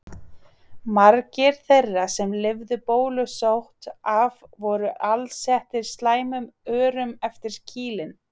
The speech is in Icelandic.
Margir þeirra sem lifðu bólusótt af voru alsettir slæmum örum eftir kýlin.